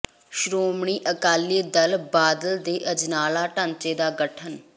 ਸ਼੍ਰੋਮਣੀ ਅਕਾਲੀ ਦਲ ਬਾਦਲ ਦੇ ਅਜਨਾਲਾ ਢਾਂਚੇ ਦਾ ਗਠਨ